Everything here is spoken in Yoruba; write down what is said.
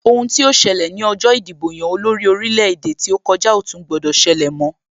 Ohun tí ó ṣẹlẹ̀ ní ọjọ ìdìbò-yan-olórí orílẹ̀-èdè tí ó kòjá ò tún gbọdọ̀ ṣẹlẹ mọ́,